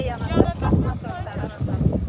yana daş yığmaq, daş almaq, daş almaq.